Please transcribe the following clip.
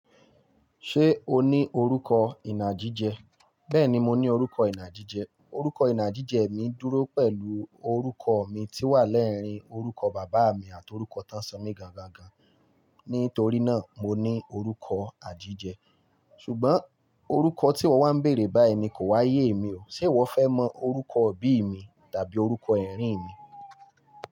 Ṣé o ní orúkọ ìnà gijẹ? Bẹ́ẹ̀ni, mo ní orúkọ ìnà gíjẹ. Orúkọ ìnà gíjẹ mi dúró pẹ̀lú orúkọ mi tí wà lẹ́rìn-ín orúkọ bàbá mi àti orúkọ tánṣo mi gangan. Nítorí náà, mo ní orúkọ inagijẹ. Ṣùgbọ́n orúkọ tí ìwọ wá ń bèèrè báyìí ni kò wáyé èmi o. Ṣé ìwọ fẹ́ mọ orúkọ òbí mi tàbí orúkọ ẹ̀rín mi?